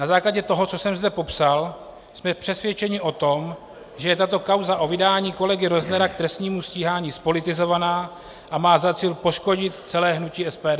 Na základě toho, co jsem zde popsal, jsme přesvědčeni o tom, že je tato kauza o vydání kolegy Roznera k trestnímu stíhání zpolitizovaná a má za cíl poškodit celé hnutí SPD.